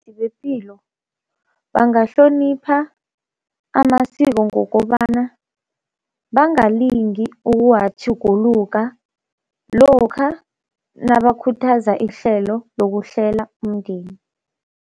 Bepilo bangahlonipha amasiko ngokobana bangalingi ukuwatjhuguluka lokha nabakhuthaza ihlelo lokuhlela umndeni.